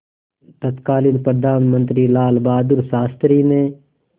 तत्कालीन प्रधानमंत्री लालबहादुर शास्त्री ने